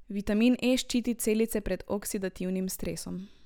Vitamin E ščiti celice pred oksidativnim stresom.